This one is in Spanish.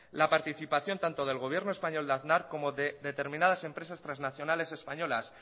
la participación tanto del gobierno español de aznar como de determinadas empresas trasnacionales españolas